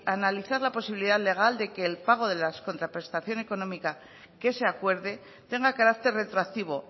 a analizar la posibilidad legal de que el pago de la contraprestación económica que se acuerde tenga carácter retroactivo